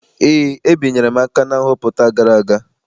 Eé, ebinyere m aka na nhọpụta gara aga.